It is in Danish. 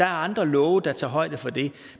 andre love der tager højde for det